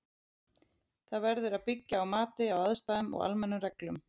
Það verður að byggja á mati á aðstæðum og almennum reglum.